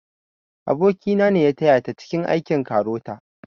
Aboki na ne ya taya ta cike aikin KAROTA